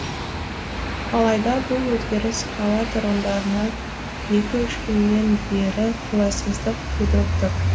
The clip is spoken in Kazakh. алайда бұл өзгеріс қала тұрғындарына екі үш күннен бері қолайсыздық тудырып тұр